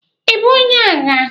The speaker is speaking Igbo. Ibu onye agha?